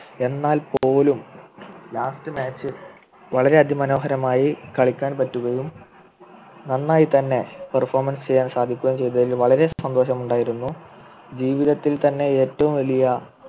എന്നാൽ പോലു last match വളരെയധികം മനോഹരമായി കളിക്കാൻ പറ്റുകയും നന്നായിത്തന്നെ Perfomance ചെയ്യാൻ സാധിക്കുകയും ചെയ്തതിൽ വളരെ സന്തോഷം ഉണ്ടായിരുന്നു ജീവിതത്തിൽ തന്നെ ഏറ്റവും വലിയ